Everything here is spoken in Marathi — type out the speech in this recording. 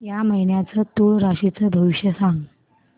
या महिन्याचं तूळ राशीचं भविष्य सांग